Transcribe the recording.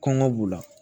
Kɔngɔ b'u la